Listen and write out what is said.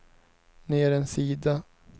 ner en sida